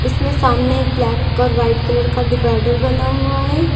इसमें सामने एक ब्लैक और व्हाइट कलर का डिवाइडर बना हुआ है।